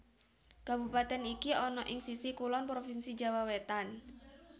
Kabupatèn iki ana ing sisih kulon provinsi Jawa Wétan